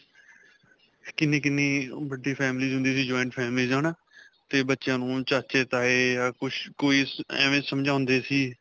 ਕਿੰਨੀ-ਕਿੰਨੀ ਵੱਡੀ families ਹੁੰਦੀ ਸੀ, joint families ਹੈ ਨਾ 'ਤੇ ਬੱਚਿਆਂ ਨੂੰ ਚਾਚੇ, ਤਾਏ ਜਾਂ ਕੁੱਝ ਕੋਈ ਐਂਵੇਂ ਸਮਝਦੇ ਸੀ.